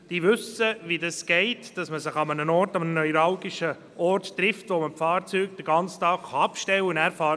Diese wissen, wie das funktioniert, dass man sich an einem Ort, an einem neuralgischen Punkt trifft, an dem man die Fahrzeuge den ganzen Tag stehen lassen kann.